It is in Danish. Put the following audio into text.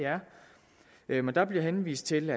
er der bliver henvist til